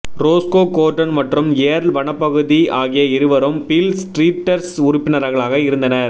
Roscoe Gordon மற்றும் Earl வனப்பகுதி ஆகிய இருவரும் பீல் ஸ்ட்ரீட்டர்ஸ் உறுப்பினர்களாக இருந்தனர்